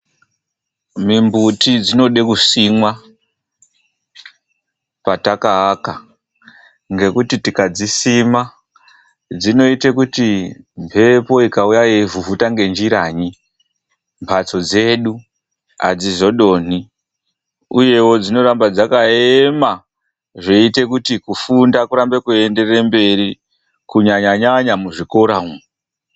Mimbuti dzinoda kusimwa patakaaka ngekuti tikadzisima dzinoita kuti mhepo ikauya ichivhuvhuta ngenjiranyi mbatso dzedu adzizodonhi uyezve uye inoita kuti dziramba dzakayema kufunda kuite nyore kunyanyanya muzvikora umo.